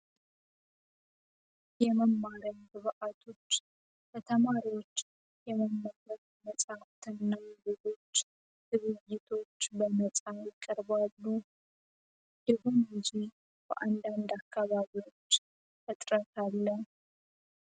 የመማሪያ ግብዓቶች ለተማሪዎች ለማንበብ መጽሐፍትንና ሌሎች ነገሮች ይቀርባሉ እነዚህ ነገሮች በአንዳንድ አከባቢዎች እጥረት አለ።